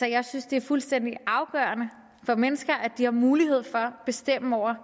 jeg synes det er fuldstændig afgørende for mennesker at de har mulighed for at bestemme over